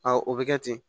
o bɛ kɛ ten